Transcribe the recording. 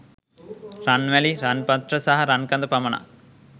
රන් වැලි, රන් පත්‍ර සහ රන් කඳ පමණක්